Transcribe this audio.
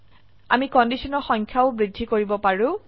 আমি কন্ডিশনৰ সংখ্যাও বৃদ্ধি কৰিব পাৰো